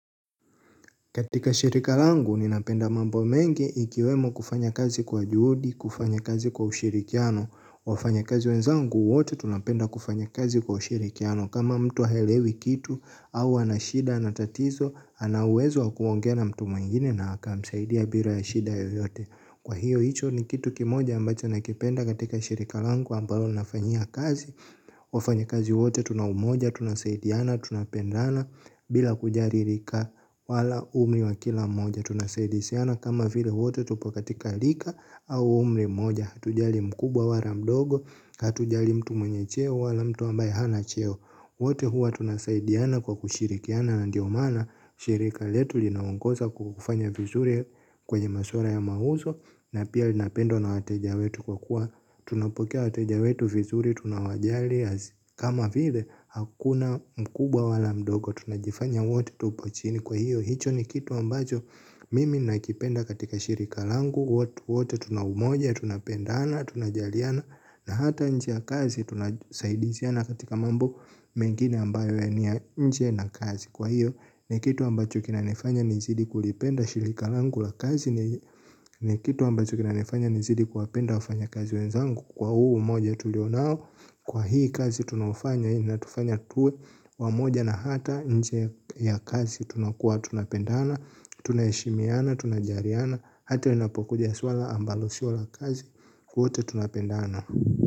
Katika shirika langu, ninapenda mambo mengi ikiwemo kufanya kazi kwa juhudi, kufanya kazi kwa ushirikiano, wafanya kazi wenzangu wote, tunapenda kufanya kazi kwa ushirikiano. Kama mtu haelewi kitu, au ana shida, ana tatizo, ana uwezo wa kuongea na mtu mwingine na akamsaidia bila ya shida yoyote. Kwa hiyo hicho ni kitu kimoja ambacho nakipenda katika shirika langu ambalo nafanyia kazi. Wafanya kazi wote tuna umoja, tuna saidiana, tuna pendana. Bila kujali rika wala umri wa kila moja tuna saidisiana kama vile wote tupo katika rika au umri moja. Hatujali mkubwa wala mdogo, hatujali mtu mwenye cheo wala mtu ambaye hana cheo. Wote hua tuna saidiana kwa kushirikiana na ndio maana shirika letu linaongoza kufanya vizuri. Kwenye masuala ya mauzo na pia linapendwa na wateja wetu kwa kuwa, tunapokea wateja wetu vizuri. Tunawajali. Kama vile hakuna mkubwa wala mdogo. Tunajifanya wote tupo chini. Kwa hiyo hicho ni kitu ambacho mimi nakipenda katika shirika langu. Wote wote tuna umoja. Tunapendana. Tunajaliana na hata nje ya kazi tunasaidiziana katika mambo mengine ambayo ni ya nje na kazi. Kwa hiyo ni kitu ambacho kinanifanya nizidi kulipenda shirika langu la kazi ni kitu ambacho kinanifanya nizidi kuwapenda wafanya kazi wenzangu kwa huu umoja tulio nao. Kwa hii kazi tunaofanya ina tufanya tuwe wamoja na hata nje ya kazi tunakuwa tunapendana. Tunaheshimiana, tunajaliana hata inapokuja swala ambalo sio la kazi, wote tunapendana.